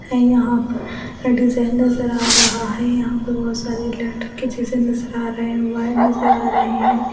है यहां डिजाइन नज़र आ रहा है यहां पे बहुत सारे लड़के के जैसे नजर आ रहे हैं वायर नजर आ रहे हैं।